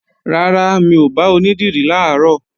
Rárá, mi ò bá onídìrí làárọ̀